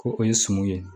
Ko o ye sɔmi ye